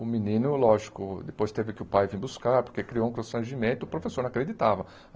O menino, lógico, depois teve que o pai vir buscar, porque criou um constrangimento, o professor não acreditava.